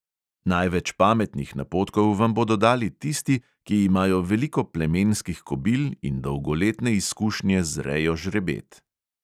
Največ pametnih napotkov vam bodo dali tisti, ki imajo veliko plemenskih kobil in dolgoletne izkušnje z rejo žrebet.